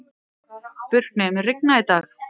Burkni, mun rigna í dag?